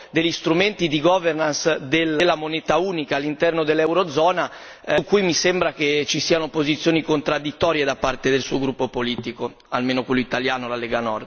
degli strumenti di governance della moneta unica all'interno dell'eurozona, su cui mi sembra che ci siano posizioni contraddittorie da parte del suo gruppo politico, almeno quello italiano, la Lega Nord.